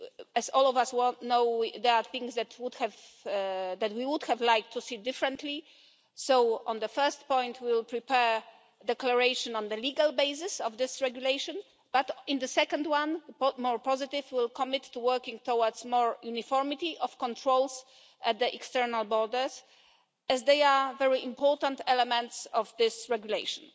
As all of us know, there are things that we would have liked to see differently so, on the first point, we will prepare a declaration on the legal basis of this regulation. On the second one, more positive, we will commit to working towards more uniformity of controls at the external borders as they are very important elements of this regulation.